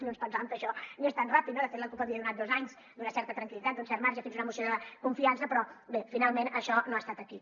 no ens pensàvem que això anés tan ràpid no de fet la cup havia donat dos anys d’una certa tranquil·litat d’un cert marge fins a una moció de confiança però bé finalment això no ha estat així